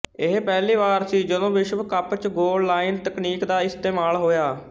ਇਹ ਪਹਿਲੀ ਵਾਰ ਸੀ ਜਦੋਂ ਵਿਸ਼ਵ ਕੱਪ ਚ ਗੋਲ ਲਾਈਨ ਤਕਨੀਕ ਦਾ ਇਸਤੇਮਾਲ ਹੋਇਆ